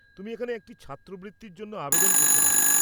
তুমি এখানে একটা ছাত্রবৃত্তির জন্য আবেদন করতে পার।